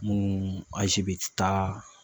Munnu taa